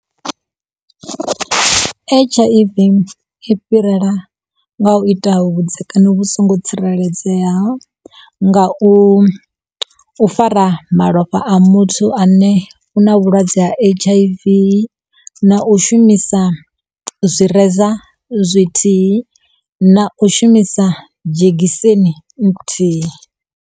H_I_V i fhirela nga u ita vhudzekani vhu songo tsireledzeaho nga u fara malofha a muthu ane u na vhulwadze ha H_I_V na u shumisa zwireza zwithihi na u shumisa dzhegiseni nthihi.